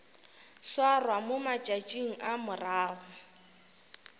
swarwa mo matšatšing a morago